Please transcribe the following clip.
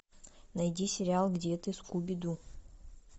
найди сериал где ты скуби ду